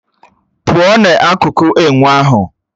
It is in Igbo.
Pùo na-akuku ènwe ahụ